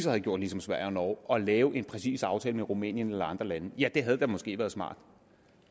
havde gjort ligesom sverige og norge og lavet en præcis aftale med rumænien eller andre lande ja det havde måske været smart